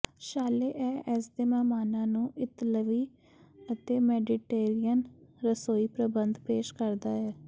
ਸ਼ਾਲੇ ਇਹ ਇਸਦੇ ਮਹਿਮਾਨਾਂ ਨੂੰ ਇਤਾਲਵੀ ਅਤੇ ਮੈਡੀਟੇਰੀਅਨ ਰਸੋਈ ਪ੍ਰਬੰਧ ਪੇਸ਼ ਕਰਦਾ ਹੈ